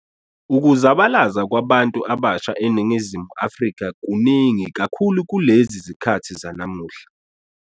Ukuzabalaza kwabantu abasha eNingizimu Afrika kuningi kakhulu kulezi zikhathi zanamuhla.